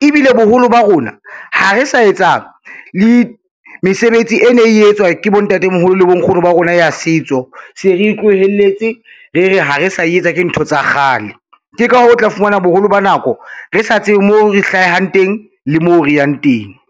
ebile boholo ba rona ha re sa etsa le mesebetsi e ne e etswa ke bontatemoholo le bonkgono ba rona ya setso se re tlohelletse re re ha re sa e etsa, ke ntho tsa kgale. Ke ka hoo, o tla fumana boholo ba nako re sa tsebe mo re hlahang teng le mo re yang teng.